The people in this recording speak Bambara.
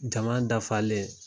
Jama dafalen.